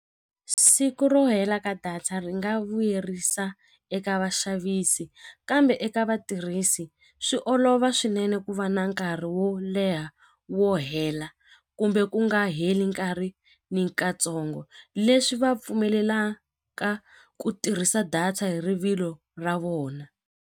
Siku ro hela ka data ri nga vuyerisa eka vaxavisi kambe eka vatirhisi swi olova swinene ku va na nkarhi wo leha wo hela kumbe ku nga heli nkarhi ni katsongo leswi vapfumelelaka ku tirhisa data hi rivilo ra vona.